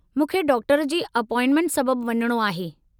मूंखे डॉक्टर जी अपॉइंटमेंट सबब वञणो आहे।